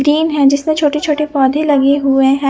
Gym है जिसपे छोटे छोटे पोधे लगे हुए है।